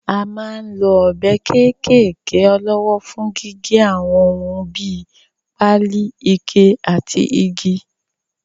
A máa ń lo ọ̀bẹ kéékèké ọlọ́wọ́ fún gígé àwọn ohun bíi; páálí, ike àti igi.